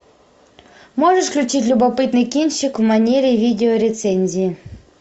можешь включить любопытный кинчик в манере видеорецензии